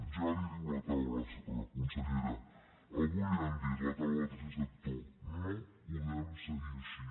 ja li ho diu la taula consellera avui li ho ha dit la taula del tercer sector no podem seguir així